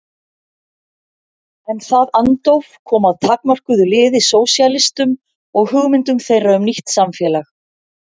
En það andóf kom að takmörkuðu liði sósíalistum og hugmyndum þeirra um nýtt samfélag.